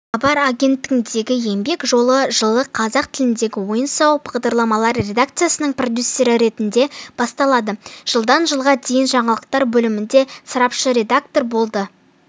хабар агенттігіндегі еңбек жолы жылы қазақ тіліндегі ойын-сауық бағдарламалар редакциясының продюсері ретінде басталады жылдан жылға дейін жаңалықтар бөлімінде сарапшы-редактор болды